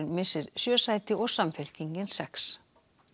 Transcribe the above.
missir sjö sæti og Samfylkingin sex